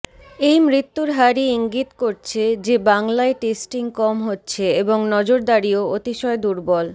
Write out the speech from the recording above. এই মৃত্যুর হারই ইঙ্গিত করছে যে বাংলায় টেস্টিং কম হচ্ছে এবং নজরদারিও অতিশয় দুর্বল